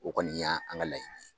O kɔni ya an ka laɲini